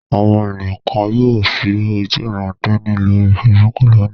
Àwọn ènìyàn kan yóò ṣí ojúuran-tẹni lórí Facebook lónìí.